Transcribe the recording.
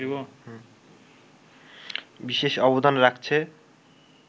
বিশেষ অবদান রাখছে